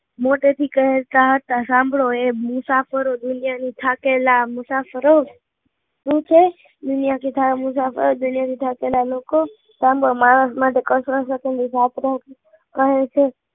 મોટે થી ક્હેતા હતા સાંભળો એ મુસાફરો દુનિયા થી થાકેલા મુસાફરો દુનિયા થી થાકેલા માણસો કે માં માણસો કહે છે